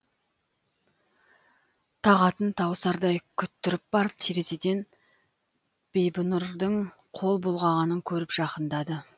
тағатын тауысардай күттіріп барып терезеден бибінұрдың қол бұлғағанын көріп жақындады